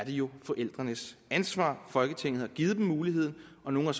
jo forældrenes ansvar folketinget har givet dem muligheden og nogle har